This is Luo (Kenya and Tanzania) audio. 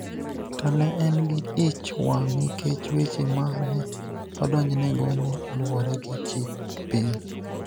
to ne en gi ich wang� nikech weche ma ne odonjnego ne luwore gi chik piny.